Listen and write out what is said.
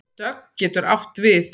Dögg getur átt við